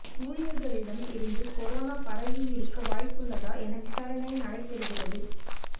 ஊழியர்களிடம் இருந்து கொரோனா பரவியிருக்க வாய்ப்புள்ளதா என விசாரணை நடைபெறுகிறது